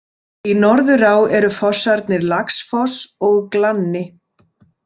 Í Norðurá eru fossarnir Laxfoss og Glanni.